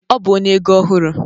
Ọ bụ onye ego ọhụrụ